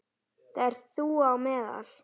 Þar ert þú á meðal.